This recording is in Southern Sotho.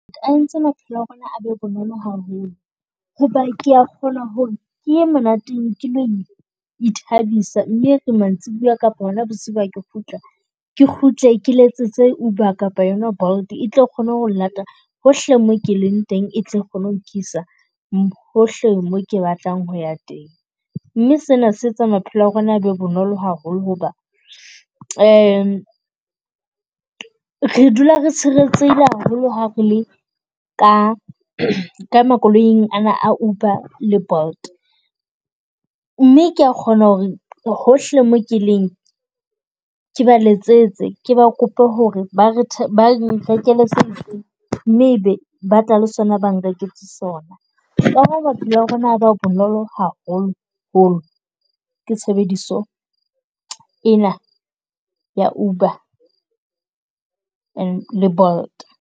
A entse maphelo a rona a be bonolo haholo, ho ba ke a kgona ho re ke ye monateng ke ithabisa mme e re mantsibuya kapa hona bosiu ha ke kgutla. Ke kgutle ke letsetse UBER kapa yona BOLT e tle kgone ho llata hohle mo ke leng teng, e tle kgone ho nkisa hohle mo ke batlang ho ya teng. Mme se na se etsa maphelo a rona a be bonolo haholo hoba, re dula re tshireletsehile haholo ha re le ka, ka makoloing ana a UBER le BOLT. mme ke a kgona ho re hohle mo keleng ke ba letsetse, ke ba kope ho re ba re ba re mme e be ba tla le sona, ba nreketse sona. Ka ha maphelo a rona ba bonolo haholoholo ke tshebediso ena ya UBER and le BOLT.